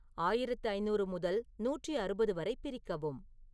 ஆயிரத்து ஐந்நூறு முதல் நூற்றி அறுபது வரை பிரிக்கவும்